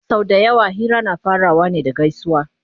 sau da yawa Hira na farawa ne da gaisuwa